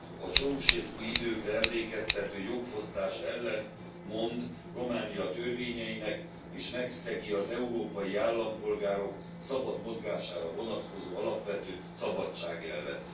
A Ceausescu időkre emlékeztető jogfosztás ellent mond Románia törvényeinek, és megszegi az európai állampolgárok szabad mozgására vonatkozó alapvető szabadságelvet.